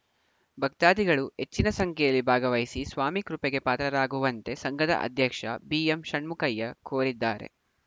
ಭಕ್ತಾದಿಗಳು ಹೆಚ್ಚಿನ ಸಂಖ್ಯೆಯಲ್ಲಿ ಭಾಗವಹಿಸಿ ಸ್ವಾಮಿ ಕೃಪೆಗೆ ಪಾತ್ರರಾಗುವಂತೆ ಸಂಘದ ಅಧ್ಯಕ್ಷ ಬಿಎಂಷಣ್ಮುಖಯ್ಯ ಕೋರಿದ್ದಾರೆ